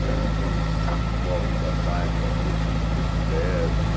Uma revista nos nos moldes da Time, da Newsweek, do Express, do...